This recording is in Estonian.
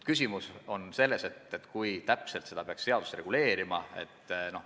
Küsimus on selles, kui täpselt seda peaks seaduses reguleerima.